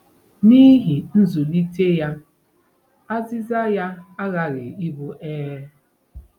N'ihi nzụlite ya, azịza ya aghaghị ịbụ ee.